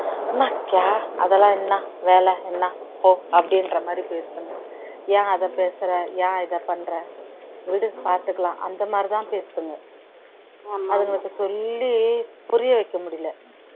அம்மா கியா அதெல்லாம் என்ன வேலை என்ன போ அப்படின்ற மாதிரி பேசுதுங்க ஏன் அதை பேசுற ஏன் இதை பண்ற விடு பார்த்துக்கலாம் அந்த மாதிரிதான் பேசுதுங்க அதுங்களுக்கு சொல்லி புரிய வைக்க முடியலை